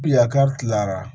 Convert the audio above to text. Bi yakari tilara